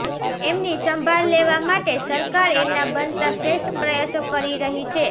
એમની સંભાળ લેવા માટે સરકાર એના બનતા શ્રેષ્ઠ પ્રયાસો કરી રહી છે